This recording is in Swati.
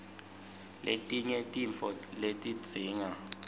letinye tintfo letidzinga